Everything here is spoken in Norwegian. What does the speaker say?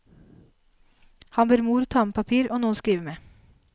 Han ber mor ta med papir og noe å skrive med.